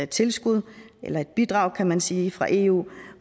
tilskud et bidrag kan man sige fra eu